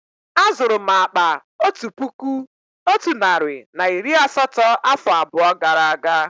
Á zuru m akpá otu puku otu narị na iri asatọ afọ abụọ gara aga